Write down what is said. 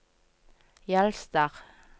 Jølster